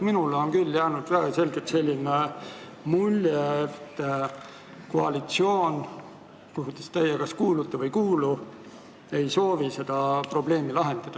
Minule on küll väga selgelt jäänud selline mulje, et koalitsioon, kuhu teie kas kuulute või ei kuulu, ei soovi seda probleemi lahendada.